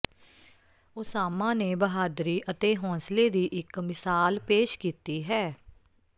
Osama ਨੇ ਬਹਾਦਰੀ ਅਤੇ ਹੌਸਲੇ ਦੀ ਇਕ ਮਿਸਾਲ ਪੇਸ਼ ਕੀਤੀ ਹੈ